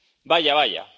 Vaya, vaya...,